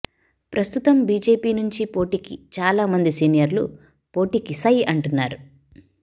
ప్రస్తుతం బీజేపీ నుంచి పోటీకి చాలా మంది సీనియర్లు పోటీకి సై అంటున్నారు